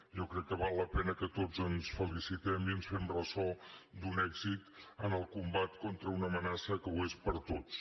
jo crec que val la pena que tots ens felicitem i ens fem ressò d’un èxit en el combat contra una amenaça que és per a tots